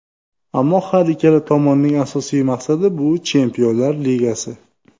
Ammo har ikkala tomonning asosiy maqsadi, bu Chempionlar Ligasi.